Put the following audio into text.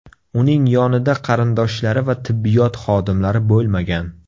Uning yonida qarindoshlari va tibbiyot xodimlari bo‘lmagan.